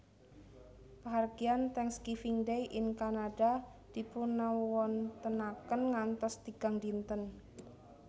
Pahargyan Thanksgiving Day ing Kanada dipunawontenaken ngantos tigang dinten